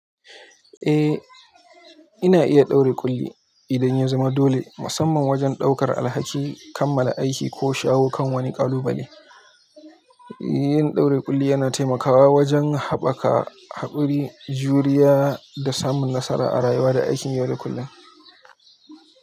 Eh, ina iya ɗaure ƙulli idan ya zama dole, musamman wajen ɗaukar alhaki, kammala aiki ko shawo kan wani ƙalubale. Yin ɗaure ƙulli yana taimakawa wajen haɓaka haƙuri, juriya da samun nasara a rayuwa da aikin yau da kullum.